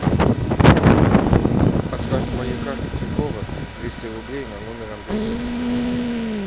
отправь с моей карты тинькова двести рублей на номер андрюхи